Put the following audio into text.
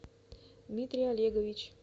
дмитрий олегович